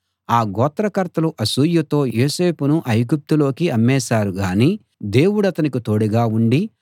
ఆ గోత్రకర్తలు అసూయతో యోసేపును ఐగుప్తులోకి అమ్మేశారు గాని దేవుడతనికి తోడుగా ఉండి